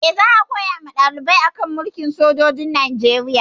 Eh, za a koya wa ɗaliban a kan mulkin sojoji a Najeriya